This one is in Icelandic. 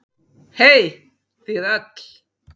Hey þið öll.